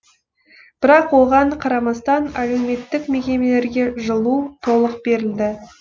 бірақ оған қарамастан әлеуметтік мекемелерге жылу толық берілді